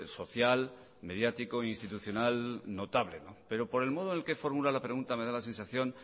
social mediático institucional notable pero por el modo en el que formula la pregunta me da la sensación